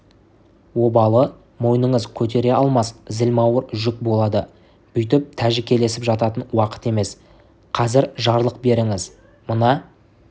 обалы мойныңыз көтере алмас зілмауыр жүк болады бүйтіп тәжікелесіп жататын уақыт емес қазір жарлық беріңіз мына